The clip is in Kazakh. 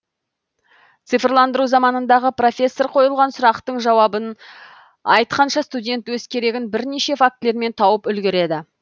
цифрландыру заманындағы профессор қойылған сұрақтың жауабын айтқанша студент өз керегін бірнеше фактілермен тауып үлгереді